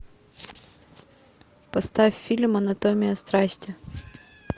поставь фильм анатомия страсти